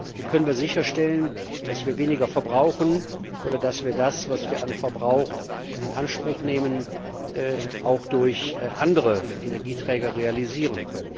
Wie können wir sicherstellen, dass wir weniger verbrauchen oder dass wir das, was wir an Verbrauch in Anspruch nehmen, auch durch andere Energieträger realisieren?